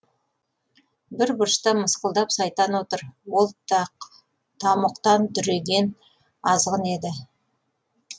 бір бұрышта мысқылдап сайтан отыр ол тамұқтан дүреген азғын еді